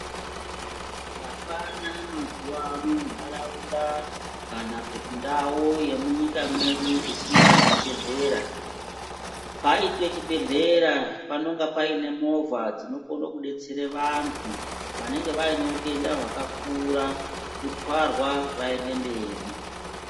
Hapana mazuwa ano nharaunda kana kuti ndau yemunyika mwedu isina chibhehleya paite chibhehleya panoite movha dzinokone kudetsere vanhu vanaenge vaine utenda hwakakura kutwarwa kuende mberi.